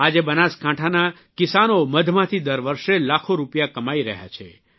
આજે બનાસકાંઠાના કિસાનો મધમાંથી દર વર્ષે લાખો રૂપિયા કમાઇ રહ્યા છે